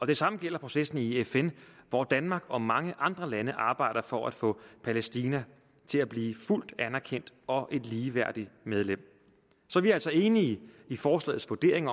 det samme gælder processen i fn hvor danmark og mange andre lande arbejder for at få palæstina til at blive et fuldt anerkendt og ligeværdigt medlem så vi er altså enige i forslagets vurdering